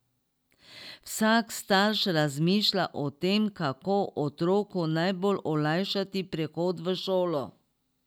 Vsak starš razmišlja o tem, kako otroku najbolj olajšati prehod v šolo.